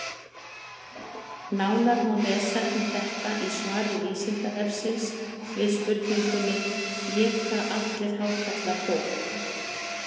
Nánar má lesa um þetta í svari Vísindavefsins við spurningunni: Éta allir hákarlar fólk?